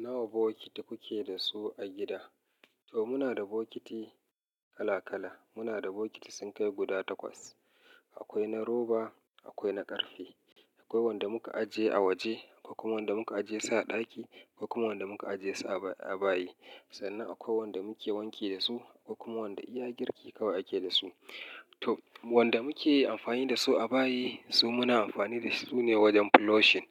Nawa bokiti kuke da su a gida? To muna da bokiti kala-kala. Muna da bokiti sun kai guda takwas. Akwai na roba, akwai na ƙarfe, akwai wanda muka ajiye a waje, akwai kuma wanda muka ajiye su a ɗaki, akwai kuma wanda muka ajiye su a bayi. Sannan akwai wanda muke wanke da su, akwai kuma wanda iya girki kawai ake da su. To wanda muke amfani da su a bayi, su muna amfani da su ne wajen flushing.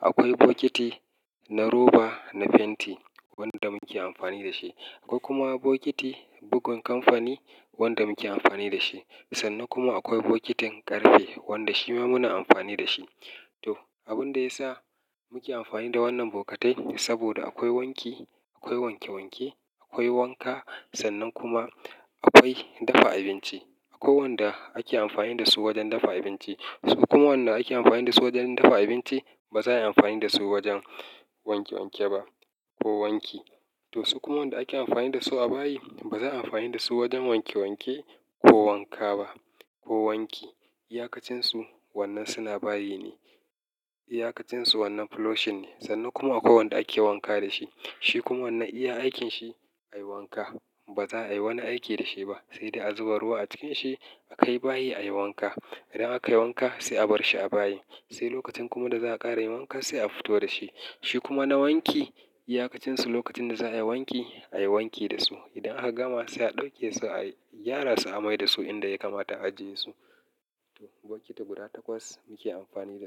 Akwai bokiti na roba, na fenti wanda muke amfani da shi. Akwai kuma bokiti bugun kamfani wanda muke amfani da shi. Sannan kuma akwai bokitin ƙarfe wanda shi ma muna amfani da shi. To abin da ya sa muke amfani da wannan bokatai saboda akwai wanki, akwai wanke wanke, akwai wanka sannan kuma akwai dafa abinci. Akwai wanda ake amfani da su wajen dafa abinci. Su kuma wanda ake amfani da su wajen dafa abinci ba za a yi amfani da su wajen wanke wanke ba ko wanki. To su kuma wanda ake amfani da su a bayi ba za a yi amfani da su wajen wanke wanke ko wanka ba ko wanki. Iyakacinsu wannan suna bayi ne. Iyakacinsu wannan flushing ne. Sannan kuma akwai wanda ake wanka da shi. Shi kuma wannan iya aikinsa ayi wanka. Ba za a yi wani aiki da shi ba sai dai a zuba ruwa a cikin shi a kai bayi ayi wanka. Idan aka yi wanka sai a bar shi a bayi. Sai lokacin kuma da za'a ƙara yin wanka sai a fito da shi. Shi kuma na wanki, iyakacinsu lokacin da za'a yi wanki ayi wanki da su. Idan aka gama sai a ɗauke su ayi gyara su a mai da su inda ya kamata a ajiye su. Bokiti guda takwas muke amfani da su.